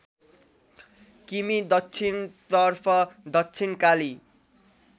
किमि दक्षिणतर्फ दक्षिणकाली